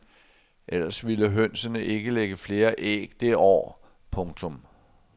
Ellers ville hønsene ikke lægge flere æg det år. punktum